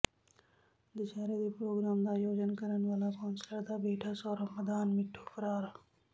ਦਸਹਿਰੇ ਦੇ ਪ੍ਰੋਗਰਾਮ ਦਾ ਆਯੋਜਨ ਕਰਨ ਵਾਲਾ ਕੌਂਸਲਰ ਦਾ ਬੇਟਾ ਸੌਰਵ ਮਦਾਨ ਮਿੱਠੂ ਫ਼ਰਾਰ